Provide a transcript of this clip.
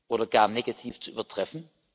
oder gar negativ zu übertreffen.